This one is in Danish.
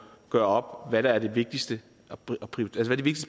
gøre op hvad der er der de vigtigste